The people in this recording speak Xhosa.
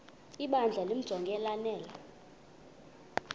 ibandla limjonge lanele